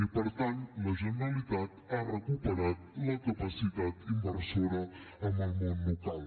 i per tant la generalitat ha recuperat la capacitat inversora en el món local